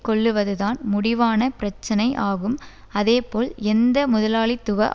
கொள்ளுவதுதான் முடிவான பிரச்சினை ஆகும் அதேபோல் எந்த முதலாளித்துவ